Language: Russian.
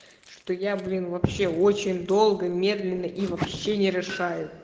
что я блин вообще очень долго медленно и вообще не решаю